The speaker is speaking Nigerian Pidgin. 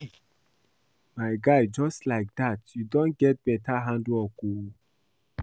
My guy just like dat you don get beta handwork oo